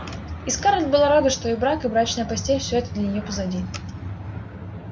и скарлетт была рада что и брак и брачная постель всё это для неё позади